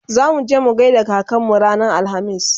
zamuje mu gaida kakanmu ranar alhamis